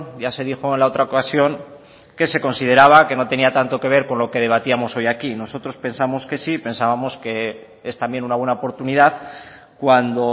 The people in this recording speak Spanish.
ya se dijo en la otra ocasión que se consideraba que no tenía tanto que ver con lo que debatíamos hoy aquí nosotros pensamos que sí pensábamos que es también una buena oportunidad cuando